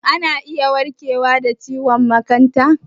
Shin ana iya warkewa da ciwon makanta?